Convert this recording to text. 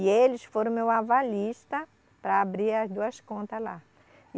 E eles foram meu avalista para abrir as duas contas lá.